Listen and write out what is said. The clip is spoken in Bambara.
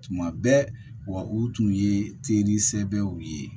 Tuma bɛɛ wa u tun ye teri sɛbɛw ye